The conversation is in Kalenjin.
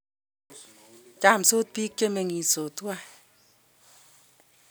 chomsot biik che meng'isot tuwai